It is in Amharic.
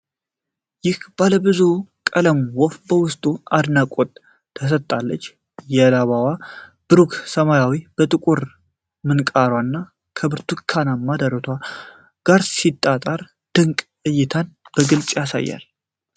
ይህች ባለብዙ ቀለም ወፍ በውበቷ አድናቆትን ትሰጣለች። የላባዋ ብሩህ ሰማያዊነት ከጥቁሩ ምንቃሯና ከብርቱካናማው ደረቷ ጋር ሲጣመር ድንቅ እይታን በግልጽ ያሳያል።